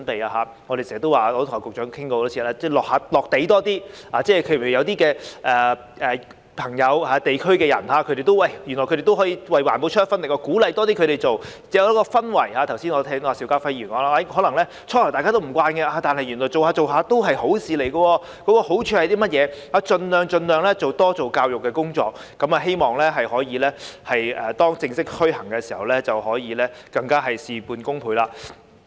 正如我們經常說，我也跟局長多次討論，應該多些"落地"，例如有些朋友和地區人士原來也可以為環保出一分力，便應多鼓勵他們做，以致建立一種氛圍，正如剛才邵家輝議員所說的，可能最初大家都不習慣，但原來逐漸便發覺是好事，了解有甚麼好處，盡量多做教育的工作，希望在正式推行時可以事半功倍。